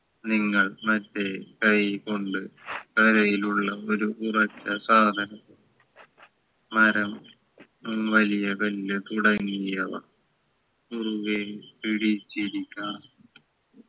നിങ്ങൾ മറ്റേ കൈ കൊണ്ട് തറയിലുള്ള ഒരു ഉറച്ച സാധനം മരം വലിയ വലിയ തുടങ്ങിയവ മുറുകെ പിടിച്ചിരിക്കാം